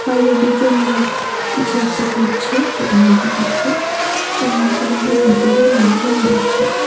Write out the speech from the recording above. বাইরে দুজন লোক কিছু একটা করছে সেটা বোঝা যাচ্ছে এবং শোরুমটির ভিতরেও লোকজন রয়েছে।